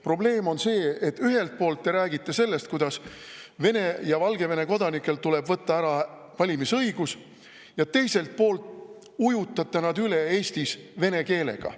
Probleem on see, et ühelt poolt te räägite sellest, kuidas Vene ja Valgevene kodanikelt tuleb võtta ära valimisõigus, ja teiselt poolt ujutate nad Eestis üle vene keelega.